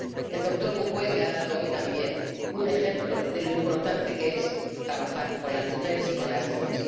El doctor Mukwege ha dado hoy también un ejemplo de lo importante que es trabajar con las mujeres y con las niñas.